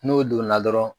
N'o donna dɔrɔn